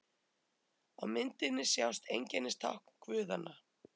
Á myndinni sjást einkennistákn guðanna.